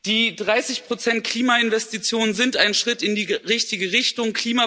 Die 30 Prozent Klimainvestitionen sind ein Schritt in die richtige Richtung.